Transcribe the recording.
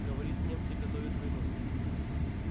говорит немцы готовят войну